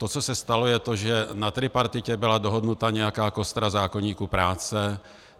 To, co se stalo, je to, že na tripartitě byla dohodnuta nějaká kostra zákoníku práce.